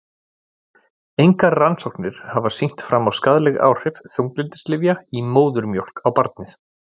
Engar rannsóknir hafa sýnt fram á skaðleg áhrif þunglyndislyfja í móðurmjólk á barnið.